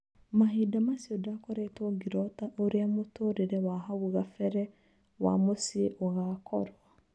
Mahinda macio ndakoretwo ngĩrota ũria mũtũrĩre wa hau gabere wa mũciĩ ugakorwo.